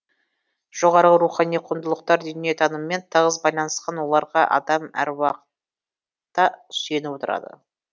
жоғарғы рухани құндылықтар дүниетаныммен тығыз байланысқан оларға адам әруақытта сүйеніп отырады